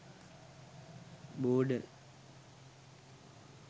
border